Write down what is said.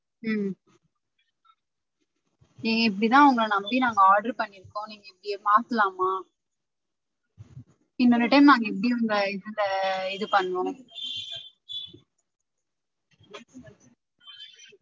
உம் நீங்க இப்புடி தான் உங்கள நம்பி நாங்க order பண்ணிருக்கோம் நீங்க இப்புடி மாத்தலமா? இன்னொரு time நாங்க எப்டி உங்க இதுல இது பண்ணுவோம்?